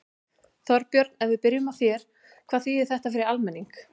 Þorbjörn, ef við byrjum á þér, hvað þýðir þetta fyrir almenning?